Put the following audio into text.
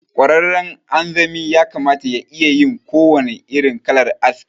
Ƙwararren anzami yakamata ya iyayin kowannen irin kalar aski.